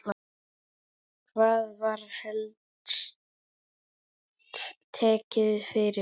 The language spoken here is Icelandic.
Hvað var helst tekið fyrir?